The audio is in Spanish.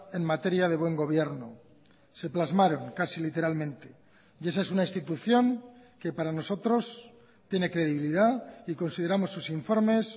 en materia de buen gobierno se plasmaron casi literalmente y esa es una institución que para nosotros tiene credibilidad y consideramos sus informes